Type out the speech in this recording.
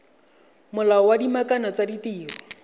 molao wa dikamano tsa ditiro